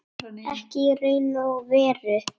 Ekki í raun og veru.